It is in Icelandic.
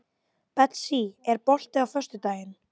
Betsý, er bolti á föstudaginn?